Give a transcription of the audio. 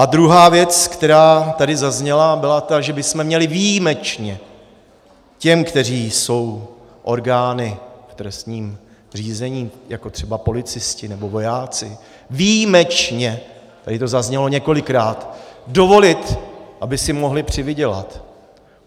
A druhá věc, která tady zazněla, byla ta, že bychom měli výjimečně těm, kteří jsou orgány v trestním řízení, jako třeba policisté nebo vojáci, výjimečně - tady to zaznělo několikrát - dovolit, aby si mohli přivydělat.